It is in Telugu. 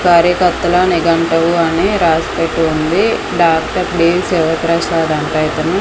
దారి కొత్తలో నిఘంటువు అని రాసి పెట్టి ఉంది డాక్టర్ లీవ్స్ ప్రసాదంటా ఇతను.